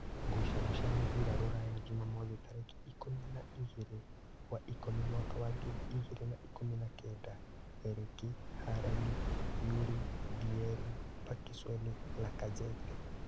Ngucanio cia mũbira Rūraya Jumamothi tarĩki ikũmi na ingĩrĩ wa ikũmi mwaka wa ngiri igĩrĩ na ikũmi na kenda: Erĩki, Harani, Yuri, Ndieri, Pakisoni, Lakazete